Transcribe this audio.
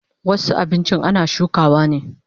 Wasu abinchin ana shukawa ne